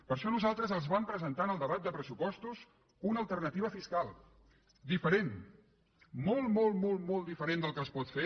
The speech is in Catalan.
per això nosaltres els vam presentar en el debat de pressupostos una alternativa fiscal diferent molt molt molt diferent del que es pot fer